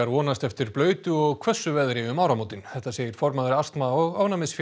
vonast eftir blautu og hvössu veðri um áramótin þetta segir formaður astma og